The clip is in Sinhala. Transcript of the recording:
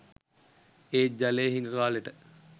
ඒත් ජලය හිඟ කාලෙට